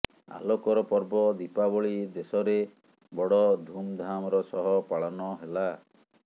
ଆଲୋକର ପର୍ବ ଦୀପାବଳି ଦେଶରେ ବଡ ଧୁମଧାମର ସହ ପାଳନ ହେଲା